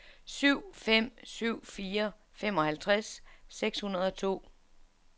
syv fem syv fire femoghalvtreds seks hundrede og to